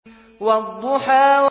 وَالضُّحَىٰ